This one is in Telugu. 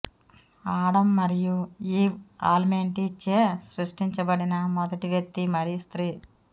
ఆడం మరియు ఈవ్ ఆల్మైటీచే సృష్టించబడిన మొదటి వ్యక్తి మరియు స్త్రీ